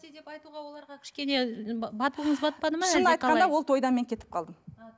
айтуға оларға кішкене батылыңыз батпады ма шынын айтқанда ол тойдан мен кетіп қалдым